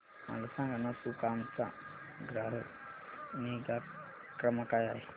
मला सांगाना सुकाम चा ग्राहक निगा क्रमांक काय आहे